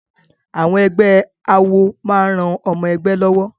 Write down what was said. Àwọn ẹgbẹ́ àwọ máa ran ọmọ-ẹgbẹ́ lọ́wọ́.